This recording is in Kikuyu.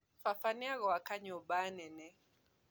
Baba nĩegũaka nyũmba nene